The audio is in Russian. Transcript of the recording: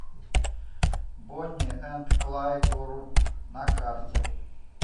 бони энд клайд груп на карте